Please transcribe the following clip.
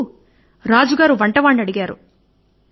అందుకొరకు రుచి చూడగానే రాజుగారు అడిగారు